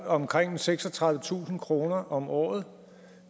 omkring seksogtredivetusind kroner om året